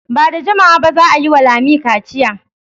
Ba da jimawa ba za a yi wa Lami kaciya.